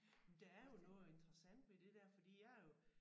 Men der er jo noget interessant ved det der fordi jeg er jo